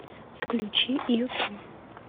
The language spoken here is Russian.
включи ютуб